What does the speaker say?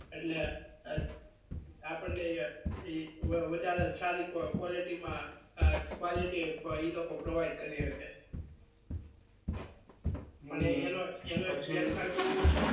એટલે લે એ આપણા ને વધારે સારી quality માં quality એ લોકો provide કરી હ કે